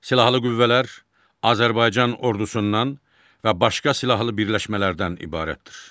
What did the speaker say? Silahlı qüvvələr Azərbaycan ordusundan və başqa silahlı birləşmələrdən ibarətdir.